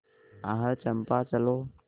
आह चंपा चलो